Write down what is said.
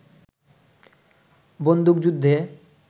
বন্দুকযুদ্ধে